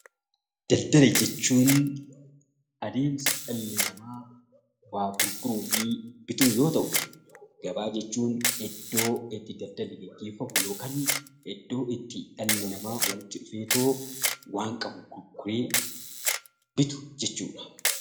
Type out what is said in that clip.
Daldala jechuun adeemsa dhalli namaa waa gurguruu fi bitu yoo ta'u; Gabaa jechuun iddoo itti daldalli geggeeffamu yookaan iddoo itti dhalli namaa walitti dhufeetoo waan qabu gurguree bitu jechuu dha.